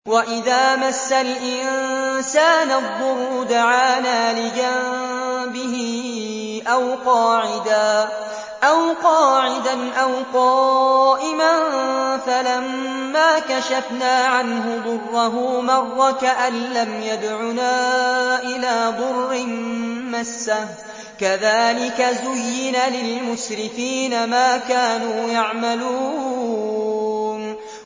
وَإِذَا مَسَّ الْإِنسَانَ الضُّرُّ دَعَانَا لِجَنبِهِ أَوْ قَاعِدًا أَوْ قَائِمًا فَلَمَّا كَشَفْنَا عَنْهُ ضُرَّهُ مَرَّ كَأَن لَّمْ يَدْعُنَا إِلَىٰ ضُرٍّ مَّسَّهُ ۚ كَذَٰلِكَ زُيِّنَ لِلْمُسْرِفِينَ مَا كَانُوا يَعْمَلُونَ